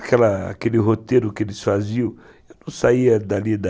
Aquela aquele roteiro que eles faziam, eu não saía dali da...